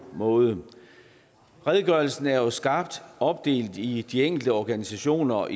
måde redegørelsen er jo skarpt opdelt i de enkelte organisationer og